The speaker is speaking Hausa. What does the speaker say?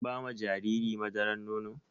Kin ba ma jariri madaran nono?